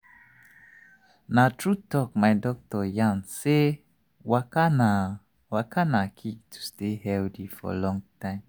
small small things like to dey notice the importance of walking fit help your body and mind well well.